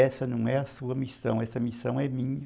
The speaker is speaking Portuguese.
Essa não é a sua missão, essa missão é minha.